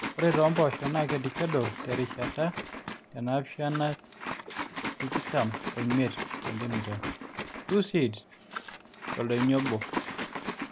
ore too mpoosho naakedikedo tirisha te naapishana t×tikitam omiet cm (2seeds toldoinyo obo)